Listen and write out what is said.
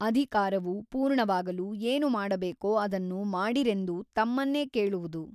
ಅಧಿಕಾರವು ಪೂರ್ಣವಾಗಲು ಏನು ಮಾಡಬೇಕೋ ಅದನ್ನು ಮಾಡಿರೆಂದು ತಮ್ಮನ್ನೇ ಕೇಳುವುದು.